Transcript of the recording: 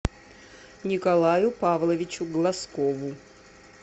николаю павловичу глазкову